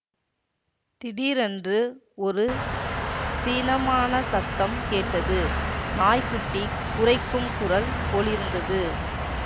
திடீரென்று ஒரு தீனமான சத்தம் கேட்டது நாய் குட்டி குரைக்கும் குரல் போலிருந்தது